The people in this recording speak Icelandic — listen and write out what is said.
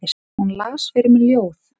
Hún las fyrir mig ljóð.